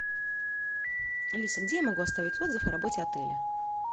алиса где я могу оставить отзыв о работе отеля